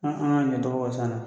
An an ɲɛ cɔgɔ ka can dɛ